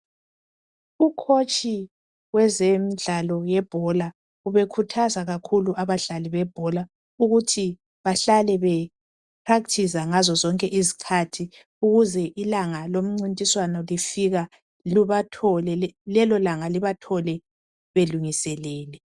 Ukhotshi wezemdlalo yebhola ubekhuthaza kakhulu abadlali bebhola ukuthi bahalale beprakthiza ngazo zonke izkhathi ukuze ilanga lomncintiswano lifike belungiselele.